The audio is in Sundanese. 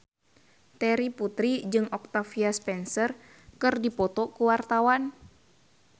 Terry Putri jeung Octavia Spencer keur dipoto ku wartawan